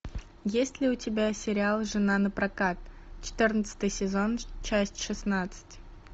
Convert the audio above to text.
есть ли у тебя сериал жена на прокат четырнадцатый сезон часть шестнадцать